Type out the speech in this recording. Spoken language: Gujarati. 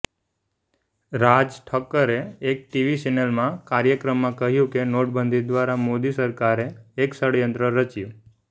રાજ ઠાકરેએ એક ટીવી ચેનલના કાર્યક્રમમાં કહ્યું કે નોટબંધી દ્વારા મોદી સરકારે એક ષડયંત્ર રચ્યું